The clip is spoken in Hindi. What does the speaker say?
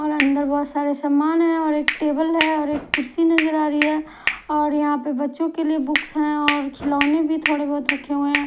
और अंदर बहुत सारे सामान है और एक टेबल है और एक कुर्सी नजर आ रही है और यहां पे बच्चों के लिए बुक्स हैं और खिलौने भी थोड़े बहुत रखे हुए हैं।